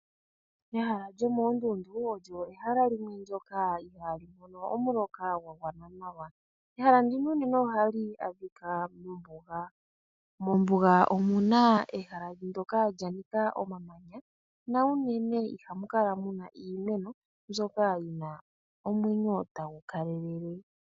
Ehala lyo moondundu olyo ehala ndyoka ihaali mono omuloka gwa gwana nawa, ehala ndino unene ohali adhika mombuga. Mombuga omuna ehala ndyoka lya nika omamanya, na unene ihamu kala muna iimeno, mbyoka yina omwenyo tagu kalelele.